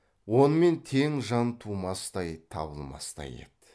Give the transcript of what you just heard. онымен тең жан тумастай табылмастай еді